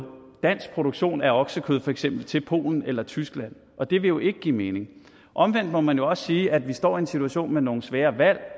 dansk produktion af oksekød til for eksempel polen eller tyskland og det vil jo ikke give mening omvendt må man også sige at vi står i en situation med nogle svære valg